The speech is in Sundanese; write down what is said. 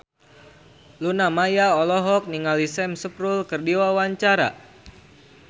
Luna Maya olohok ningali Sam Spruell keur diwawancara